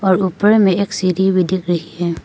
और ऊपर में एक सीढी भी दिख रही है।